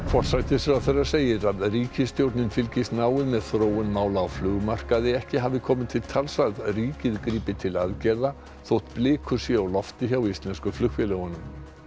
forsætisráðherra segir að ríkisstjórnin fylgist náið með þróun mála á flugmarkaði ekki hafi komið til tals að ríkið grípi til aðgerða þótt blikur séu á lofti hjá íslensku flugfélögunum